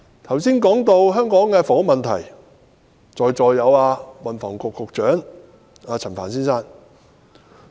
我剛才談及香港的房屋問題，而現時在席的有運輸及房屋局局長陳帆先生。